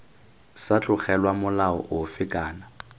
sa tlogelwa molao ofe kana